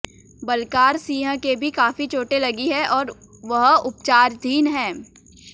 बलकार सिंह के भी काफी चोटें लगी हैं और वह उपचाराधीन है